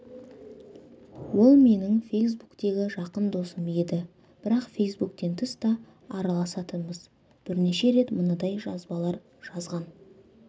ол менің фейсбуктегі жақын досым еді бірақ фейсбуктен тыс та араласатынбыз бірнеше рет мынадай жазбалар жазған